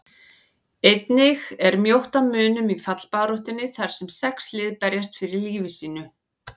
Einnig er mjótt á munum í fallbaráttunni þar sem sex lið berjast fyrir lífi sínu.